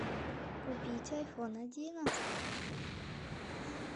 купить айфон одиннадцать